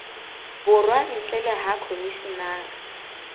borwa ntle le ha khomishenara